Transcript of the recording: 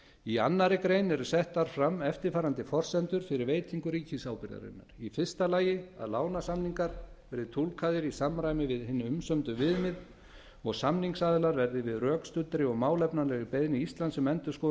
í annarri grein eru settar fram eftirfarandi forsendur fyrir veitingu ríkisábyrgðarinnar a að lánasamningar verði túlkaðir í samræmi við hin umsömdu viðmið og samningsaðilar verði við rökstuddri og málefnalegri beiðni íslands um endurskoðun